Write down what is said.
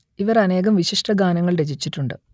ഇവർ അനേകം വിശിഷ്ട ഗാനങ്ങൾ രചിച്ചിട്ടുണ്ട്